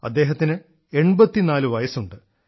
അദ്ദേഹത്തിന് 84 വയസ്സുണ്ട്